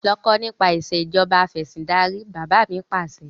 Lọ kà nípa ìsèjọba afẹ̀sindarí! Bàbá mi Pàṣẹ.